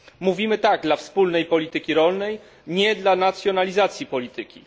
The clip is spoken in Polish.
Mówimy tak dla wspólnej polityki rolnej, nie dla nacjonalizacji polityki.